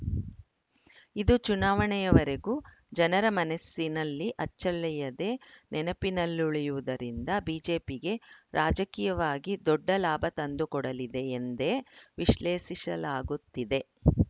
ಇದು ಚುನಾವಣೆಯವರೆಗೂ ಜನರ ಮನಸ್ಸಿನಲ್ಲಿ ಅಚ್ಚಳಿಯದೆ ನೆನಪಿನಲ್ಲುಳಿಯುವುದರಿಂದ ಬಿಜೆಪಿಗೆ ರಾಜಕೀಯವಾಗಿ ದೊಡ್ಡ ಲಾಭ ತಂದುಕೊಡಲಿದೆ ಎಂದೇ ವಿಶ್ಲೇಷಿಸಲಾಗುತ್ತಿದೆ